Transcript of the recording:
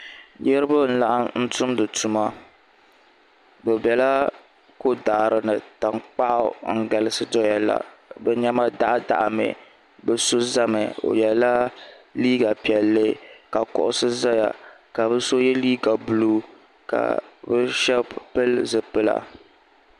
Niraba n laɣam tumdi tuma bi biɛla ko daɣari ni tankpaɣu n galisi doya la bi niɛma daɣa daɣa mi bi so ʒɛmi o yɛla liiga piɛlli ka kuɣusi ʒɛya ka bi so yɛ liiga buluu ka bi shab pili zipila